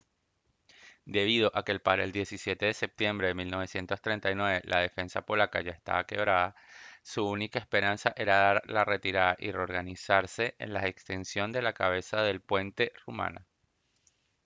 debido a que para el 17 de septiembre de 1939 la defensa polaca ya estaba quebrada su única esperanza era dar la retirada y reorganizarse en la extensión de la cabeza de puente rumana